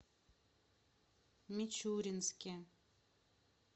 мичуринске